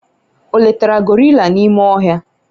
o letara gorilla n'ime ohia?